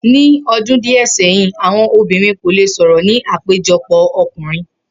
Ni o̩dún díè̩ sé̩yìn, àwo̩n obìnrin kò lè sò̩rò̩ ní àpéjo̩pò̩ o̩kùnrin